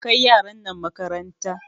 Kai yaran nan makaranta!